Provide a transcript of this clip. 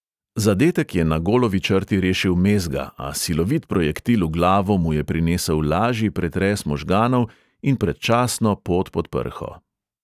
Zadetek je na golovi črti rešil mezga, a silovit projektil v glavo mu je prinesel lažji pretres možganov in predčasno pot pod prho.